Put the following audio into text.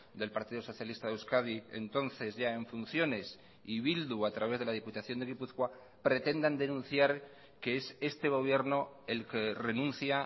del partido socialista de euskadi entonces ya en funciones y bildu a través de la diputación de gipuzkoa pretendan denunciar que es este gobierno el que renuncia